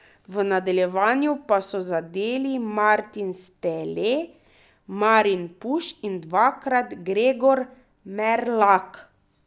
V nadaljevanju pa so zadeli Martin Stele, Marin Puš in dvakrat Gregor Merlak.